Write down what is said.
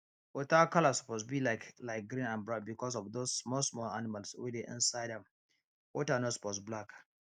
water color suppose be like like green and brown because of those small small animal wey dey inside am water no suppose black